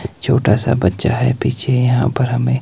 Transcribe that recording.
एक छोटा सा बच्चा है पीछे यहां पर हमें--